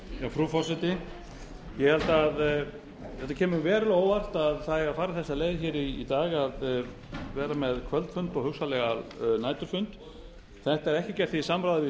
frú forseti það kemur verulega á óvart að fara eigi þessa leið í dag að vera með kvöldfund og hugsanlega næturfund þetta er ekki gert í samráði við